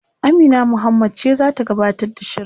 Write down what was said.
Amina Muhammad ce zata gabatar da shirin